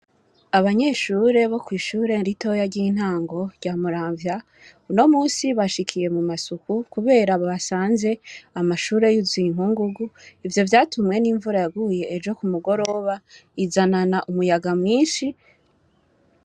Abanyeshure bo kwishure ritoya ry intango rya muramvya uno munsi bashikiye mumasuku kubera bansanze amashure yuzuye inkungugu ivyo vyatumye nimvura yaguye ejo kumugoroba izanana umuyga mwinshi.